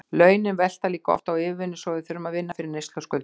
Launin velta líka oft á yfirvinnu og við þurfum að vinna fyrir neyslu og skuldum.